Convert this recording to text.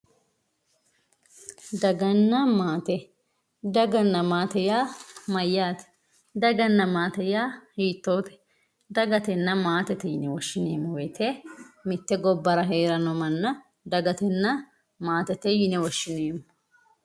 Dagana matte dagana matte ya mayate dagana matte ya hitote dagatena matete yine woshinemo woyite mitte gobaraa herano mana dagatenna mattete yine woshinemo